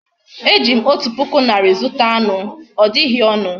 Ejim otu puku nari zuta any. odighi onu